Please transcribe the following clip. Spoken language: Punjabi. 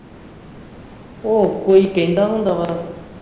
ਓਹ ਕੋਈ ਕਹਿੰਦਾ ਹੁੰਦਾ ਵਾ